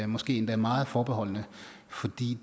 måske endda meget forbeholdne fordi